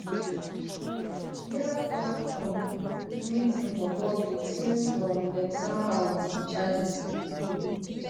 she neva tok um anytin for public since um dem sama her wit di charges